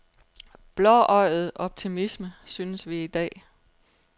Blåøjet optimisme, synes vi i dag.